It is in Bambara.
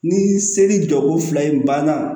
Ni seli jɔko fila in banna